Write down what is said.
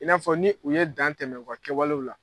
I n'a fɔ ni u ye dan tɛmɛ u ka kɛwalew la.